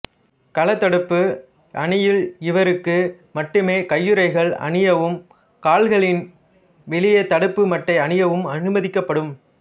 களத்தடுப்பு அணியில் இவருக்கு மட்டுமே கையுறைகள் அணியவும் கால்களின் வெளியே தடுப்பு மட்டை அணியவும் அனுமதிக்கப்படும்